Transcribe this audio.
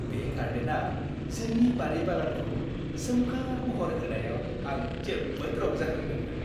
बे गार्डेनारआ जोंनि बारि-बागानखौ सोमखोर महर होनायाव आं जोबोद रंजाखांदोंमोन।